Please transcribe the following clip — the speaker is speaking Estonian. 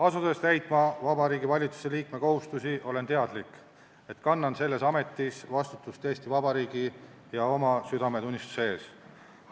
Asudes täitma Vabariigi Valitsuse liikme kohustusi, olen teadlik, et kannan selles ametis vastutust Eesti Vabariigi ja oma südametunnistuse ees.